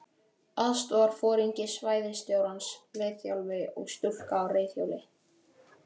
Aðstoðarforingi svæðisstjórans, liðþjálfi og stúlka á reiðhjóli.